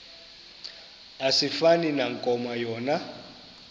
asifani nankomo yona